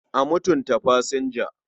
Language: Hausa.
A mutunta fasinja.